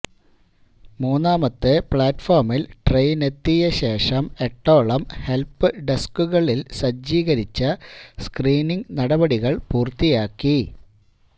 മൂന്നാമത്തെ പ്ലാറ്റ്ഫോമില് ട്രെയിനെത്തിയ ശേഷം എട്ടോളം ഹെല്പ് ഡെസ്കുകളില് സജ്ജീകരിച്ച സ്ക്രീനിങ് നടപടികള് പൂര്ത്തിയാക്കി